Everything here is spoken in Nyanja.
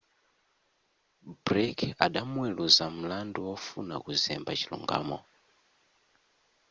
blake adamuweluza mlandu wofuna kuzemba chilungamo